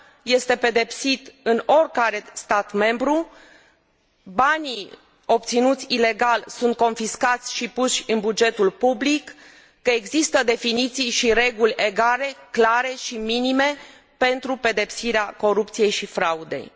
este pedepsit în oricare stat membru, că banii obținuți ilegal sunt confiscați și puși în bugetul public, că există definiții și reguli egale, clare și minime pentru pedepsirea corupției și fraudei.